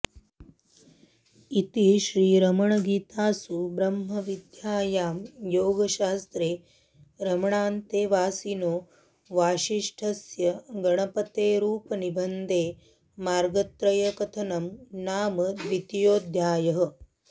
इति श्रीरमणगीतासु ब्रह्मविद्यायां योगशास्त्रे रमणान्तेवासिनो वासिष्ठस्य गणपतेरुपनिबन्धे मार्गत्रयकथनं नाम द्वितीयोऽध्यायः